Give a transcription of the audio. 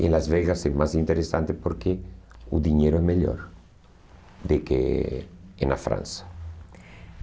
E Las Vegas é mais interessante porque o dinheiro é melhor do que em na França.